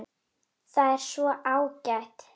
Það er svo ágætt.